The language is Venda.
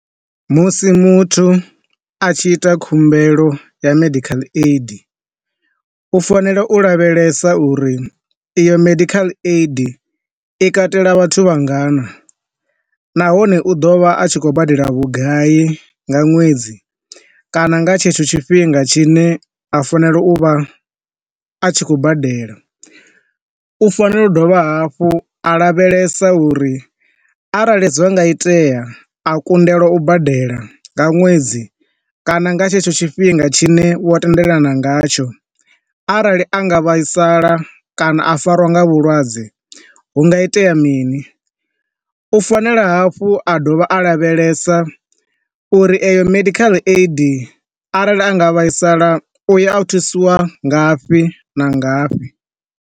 Musi muthu a tshi ita khumbelo ya medical aid, u fanela u lavhelesa uri iyo medical aid i katela vhathu vhangana, nahone u ḓovha a tshi khou badela vhugai nga ṅwedzi kana nga tshetsho tshifhinga tshi ne a fanela u vha a tshi khou badela. U fanela u dovha hafhu a lavhelesa uri arali zwi nga itea a kundelwa u badela nga ṅwedzi kana nga tshetsho tshifhinga tshine vho tendelana nga tsho, arali a nga vhaisala kana a farwa nga vhulwadze hunga itea mini. U fanela hafhu a dovha a lavhelesa uri eyo medical aid arali a nga vhaisala u ya a thusiwa ngafhi na ngafhi.